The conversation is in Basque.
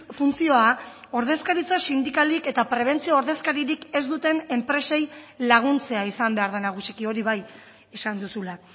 funtzioa ordezkaritza sindikalik eta prebentzio ordezkaririk ez duten enpresei laguntzea izan behar da nagusiki hori bai esan duzula